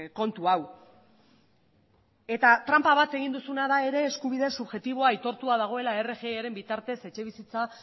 kontu hau eta tranpa bat egin duzuna da ere eskubide subjektiboa aitortua dagoela rgiaren bitartez etxebizitza